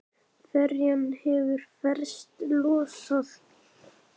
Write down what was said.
Ferjan hefur festar losað.